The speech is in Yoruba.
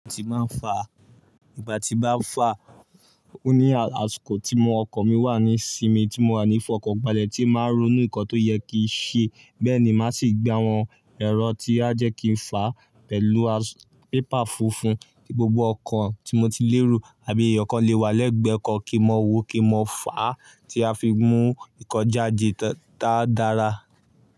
Ìgbà tí máa ń fa, ìgbà tí bá fà ó ní àṣikò tí mọ ọkàn mi wà ní sinmi tí mo wà ní fọkanbalẹ̀ tí máa ń ronú nkan tó yẹ kí n ṣe. Bẹ́ẹ̀ ni màá sì gba àwọn ẹ̀rọ tí a jẹ́ kí n fà pẹ̀lú pépà funfun kí gbogbo ọkàn tí mo ti lérù àbí ẹ̀yọ̀kan le wà lẹ́gbẹ̀ẹ́ kan kí mọ wó kí mọ fà á tí a fi mú nǹkan jáde táa dára.